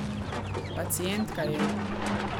Pacientka je.